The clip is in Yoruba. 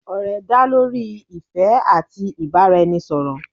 òrè dá lorí ìfé ati ibaraẹnisọrọ